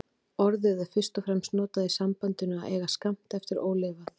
Orðið er fyrst og fremst notað í sambandinu að eiga skammt eftir ólifað.